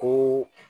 Ko